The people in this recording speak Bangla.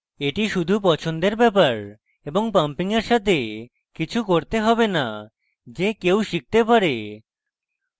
এটি শুধু পছন্দের matter এবং pumping এর সাথে কিছু করতে হবে না যে কেউ শিখতে পারে